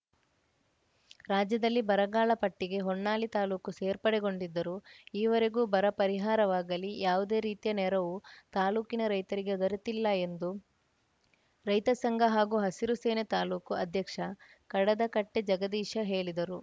ರಾಜ್ಯದಲ್ಲಿ ಬರಗಾಲ ಪಟ್ಟಿಗೆ ಹೊನ್ನಾಳಿ ತಾಲೂಕು ಸೇರ್ಪಡೆಗೊಂಡಿದ್ದರೂ ಈವರೆಗೂ ಬರ ಪರಿಹಾರವಾಗಲಿ ಯಾವುದೇ ರೀತಿಯ ನೆರವು ತಾಲೂಕಿನ ರೈತರಿಗೆ ದೊರೆತಿಲ್ಲ ಎಂದು ರೈತ ಸಂಘ ಹಾಗೂ ಹಸಿರು ಸೇನೆ ತಾಲೂಕು ಅಧ್ಯಕ್ಷ ಕಡದಕಟ್ಟೆಜಗದೀಶ ಹೇಳಿದರು